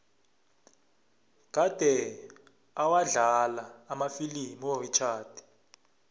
kade awadlala amafilimu urichard